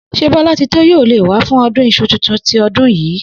S̩é Bó̩látitó yóò lè wá fún o̩dún is̩u tuntun ti o̩dún yìí?